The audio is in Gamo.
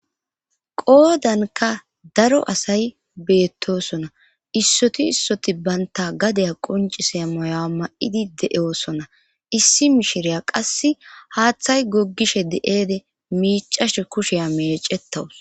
Goodanka daro asay beettosona issoti issoti baynta gadaya qoncise mayoa ma7idi de7eoosona issi mishireya qasse haaththay goggishe de7eede miicashe kusheya meecettawus.